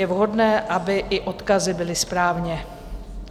Je vhodné, aby i odkazy byly správně.